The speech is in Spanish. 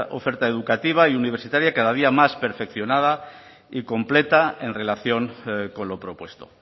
oferta educativa y universitaria cada día más perfeccionada y completa en relación con lo propuesto